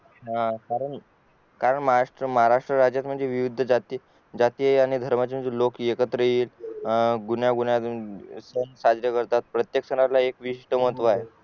हा कारण महाराष्ट्र राज्य विविध जाती व धर्माचे लोक एकत्र येतात गुण्यां गुण्यांन सण साजरे करतात प्रत्येक सणातला एक विस्ट महत्व आहे